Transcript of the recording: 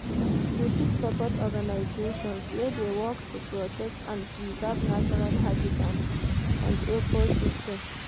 You fit support organizations wey dey work to protect and preserve natural habitants and ecosystem.